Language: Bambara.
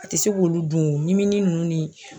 A ti se k'olu dun , ɲimini nunnu ni